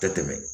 Tɛ tɛmɛ